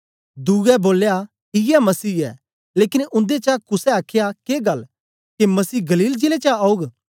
दुए बोलया इयै मसीह ऐ लेकन उन्देचा कुसे आख्या के गल्ल के मसीह गलील जिले चा औग